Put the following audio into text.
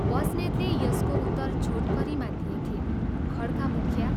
" बस्नेतले यसको उत्तर छोटकरीमा दिएथे, "खँड्का मुखिया!